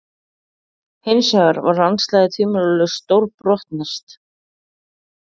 Hinsvegar var landslagið tvímælalaust stórbrotnast.